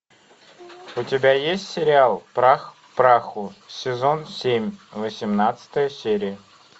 у тебя есть сериал прах к праху сезон семь восемнадцатая серия